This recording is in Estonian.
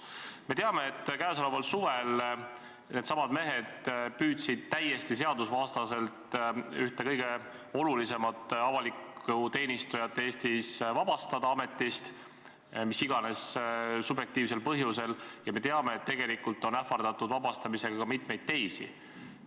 Me teame, et sel suvel needsamad mehed püüdsid täiesti seadusvastaselt ühte kõige olulisemat avalikku teenistujat Eestis ametist vabastada mis iganes subjektiivsel põhjusel, ja me teame, et tegelikult on ähvardatud ametist vabastamisega ka mitmeid teisi inimesi.